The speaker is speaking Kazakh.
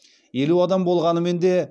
елу адам болғанымен де